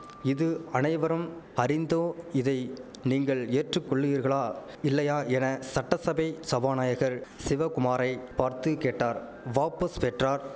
இது அனைவரும் அறிந்தோ இதை நீங்கள் ஏற்றுக்கொள்ளீர்களா இல்லையா என சட்டசபை சபாநாயகர் சிவகுமாரை பார்த்து கேட்டார் வாபஸ் பெற்றார்